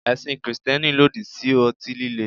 Ẹ̀sìn Kristẹni lòdì sí ọtí líle.